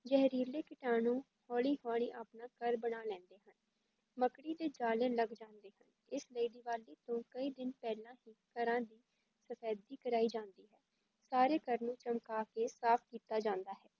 ਜ਼ਹਿਰੀਲੇ ਕੀਟਾਣੂ ਹੌਲੀ ਹੌਲੀ ਆਪਣਾ ਘਰ ਬਣਾ ਲੈਂਦੇ ਹਨ, ਮੱਕੜੀ ਦੇ ਜ਼ਾਲੇ ਲੱਗ ਜਾਂਦੇ ਹਨ, ਇਸ ਲਈ ਦੀਵਾਲੀ ਤੋਂ ਕਈ ਦਿਨ ਪਹਿਲਾਂ ਹੀ ਘਰਾਂ ਦੀ ਸਫ਼ੈਦੀ ਕਰਵਾਈ ਜਾਂਦੀ ਹੈ, ਸਾਰੇ ਘਰ ਨੂੰ ਚਮਕਾ ਕੇ ਸਾਫ਼ ਕੀਤਾ ਜਾਂਦਾ ਹੈ।